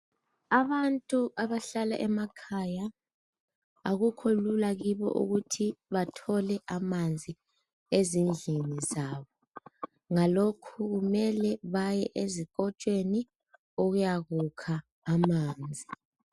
Abantu abahlala emakhaya akukho lula kibo ukuthi bathole amanzi ezindlini zabo. Ngalokhu kumele baye ezikotshweni ukuyakukha amanzi.